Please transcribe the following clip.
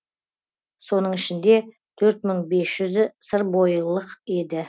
соның ішінде төрт мың бес жүзі сырбойылық еді